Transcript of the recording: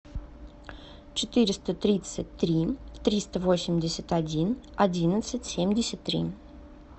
четыреста тридцать три триста восемьдесят один одиннадцать семьдесят три